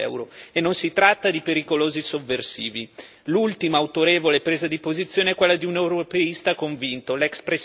Da più parti si levano voci affinché alla Grecia sia data la possibilità di uscire dall'euro e non si tratta di pericolosi sovversivi.